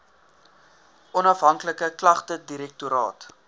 onafhanklike klagtedirektoraat